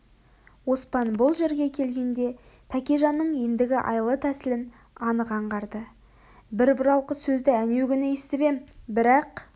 оспан бұл жерге келгенде тәкежанның ендігі айла-тәсілін анық аңғарды бір бұралқы сөзді әнеугүні есітіп ем бірақ